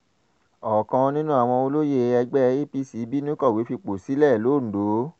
ọ̀kan nínú àwọn olóyè ẹgbẹ́ apc bínú kọ̀wé fipò sílẹ̀ londo